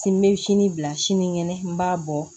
Sini n bɛ sini bila sinikɛnɛ n b'a bɔ